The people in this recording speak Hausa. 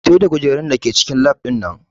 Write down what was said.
Fito da kujerun da ke cikin lab ɗin nan!